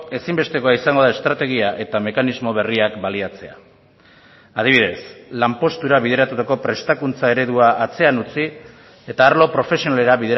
ezinbestekoa izango da estrategia eta mekanismo berriak baliatzea adibidez lanpostura bideratutako prestakuntza eredua atzean utzi eta arlo profesionalera